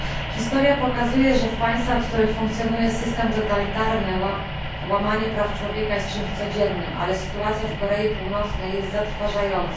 Historia pokazuje, że w państwach, w których funkcjonuje system totalitarny, łamanie praw człowieka jest czymś codziennym, ale sytuacja w Korei Północnej jest zatrważająca.